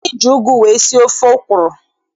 Anyị ji ụgụ wee sie ofe ọkwụrụ.